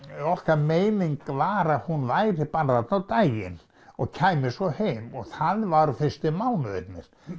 okkar meining var að hún væri bara þarna á daginn og kæmi svo heim og það var fyrstu mánuðina